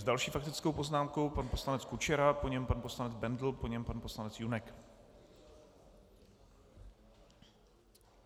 S další faktickou poznámkou pan poslanec Kučera, po něm pan poslanec Bendl, po něm pan poslanec Junek.